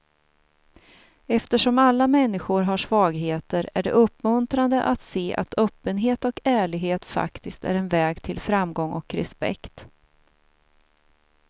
Eftersom alla människor har svagheter är det uppmuntrande att se att öppenhet och ärlighet faktiskt är en väg till framgång och respekt.